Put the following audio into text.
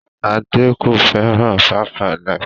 Ṣadé kò fẹ́ràn 5-alive.